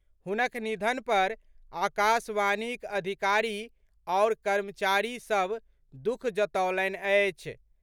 हुनक निधन पर आकाशवाणीक अधिकारी आओर कर्मचारी सभ दुःख जतौलनि अछि।